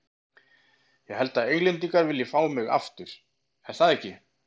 Ég held að Englendingar vilji fá mig aftur, er það ekki?